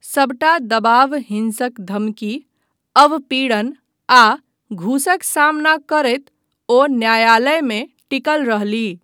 सबटा दबाव हिंसक धमकी, अवपीड़न आ घूसक सामना करैत ओ न्यायालयमे टिकल रहलीह।